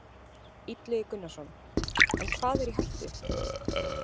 Illugi Gunnarsson: En hvað er í hættu?